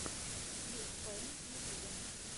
клик пэйнт в ютьюбе